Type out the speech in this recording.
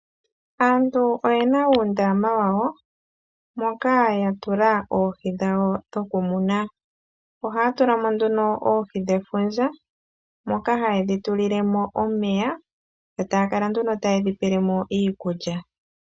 Aantu oye uundama wawo moka ya tula oohi dhawo dhokumuna ohaya tulamo nduno oohi dhefundja moka hayedhi tulilemo omeya yo taya kala nduno tayedhi pelemo iikulya